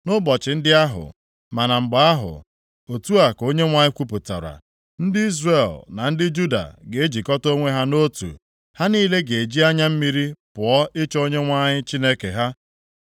“Nʼụbọchị ndị ahụ, ma na mgbe ahụ,” otu a ka Onyenwe anyị kwupụtara, ndị Izrel na ndị Juda ga-ejikọta onwe ha nʼotu. Ha niile ga-eji anya mmiri pụọ ịchọ Onyenwe anyị Chineke ha.